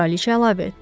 Kraliçə əlavə etdi.